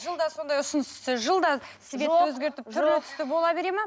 жылда сондай ұсыныс түссе жылда түрлі түсті бола береді ме